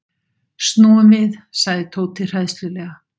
Snúum við sagði Tóti hræðslulega.